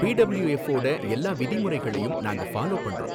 B W F வோட எல்லா விதிமுறைகளையும் நாங்க ஃபாலோ பண்றோம்.